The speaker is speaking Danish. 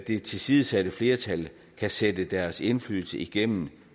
det tilsidesatte flertal kan sætte deres indflydelse igennem